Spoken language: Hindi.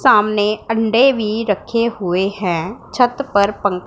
सामने अंडे भी रखे हुए हैं छत पर पं--